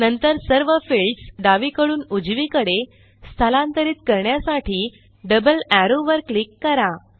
नंतर सर्व फिल्डस डावीकडून उजवीकडे स्थलांतरित करण्यासाठी डबल एरो वर क्लिक करा